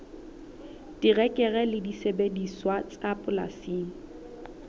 terekere le disebediswa tsa polasing